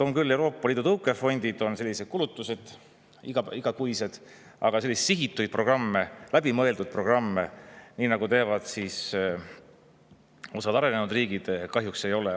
On küll Euroopa Liidu tõukefondid, on igakuised kulutused, aga selliseid sihitud programme, läbimõeldud programme, nii nagu teeb osa arenenud riike, kahjuks ei ole.